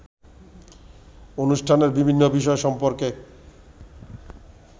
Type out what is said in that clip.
অনুষ্ঠানের বিভিন্ন বিষয় সম্পর্কে